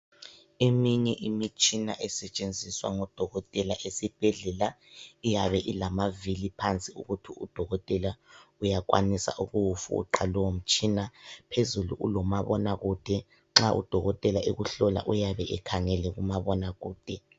Eminye imitshina esetshenziswa ngoDokotela eSibhedlela iyabe ilamavili phansi ukuthi uDokotela uyakwanisa ukuwufuqa lowo mtshina phezulu kulomabona kude nxa uDokotela nxa ekuhlola uyabe ekhangele kumabona kude.